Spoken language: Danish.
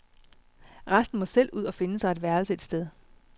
Resten må selv ud og finde sig et værelse et sted.